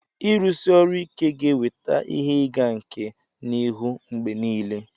ịrụsi ọrụ ike ga-eweta ihe ịga nke n'ihu mgbe niile